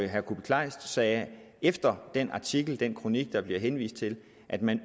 herre kuupik kleist sagde efter den artikel den kronik der bliver henvist til at man